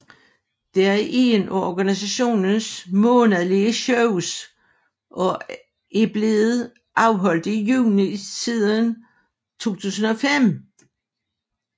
Det er ét af organisationens månedlige shows og er blevet afholdt i juni siden 2005